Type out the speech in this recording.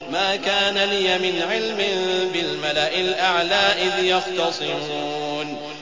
مَا كَانَ لِيَ مِنْ عِلْمٍ بِالْمَلَإِ الْأَعْلَىٰ إِذْ يَخْتَصِمُونَ